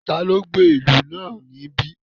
Taló gbé ìlú náà níbí?